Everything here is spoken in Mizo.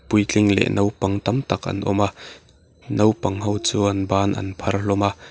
puitling leh nopang tam tak an awm a naupang ho chuan ban an phar hlawm a.